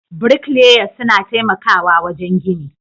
Bricklayers suna taimakawa wajen gini.